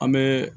An bɛ